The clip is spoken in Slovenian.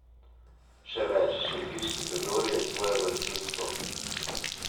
Še več, šentviški predor je svojevrsten vstop.